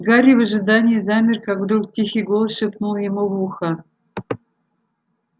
гарри в ожидании замер как вдруг тихий голос шепнул ему в ухо